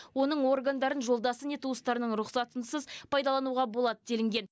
оның органдарын жолдасы не туыстарының рұқсатынсыз пайдалануға болады делінген